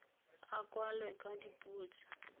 a kwalwe ka dipuo tse